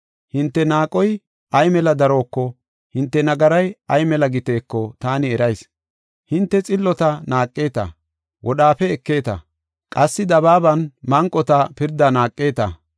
Hinte naaqoy ay mela daroko, hinte nagaray ay mela giteeko taani erayis. Hinte xillota naaqeta; wodhaafe ekeeta; qassi dabaaban manqota pirdaa naaqeta.